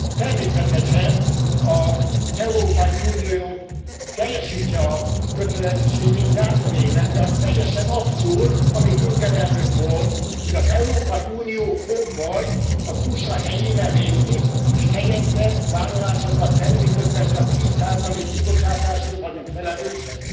Természetesen az Európai Unió teljesítse a kötelezettségét, járjon élen, de az teljesen abszurd, amit Juncker elnök mond, hogy az Európai Unió fog majd az USA helyére lépni, és helyette vállalásokat tenni, miközben csak tíz százalék kibocsátásért vagyunk felelősek.